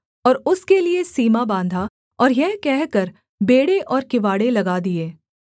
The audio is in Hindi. और उसके लिये सीमा बाँधा और यह कहकर बेंड़े और किवाड़ें लगा दिए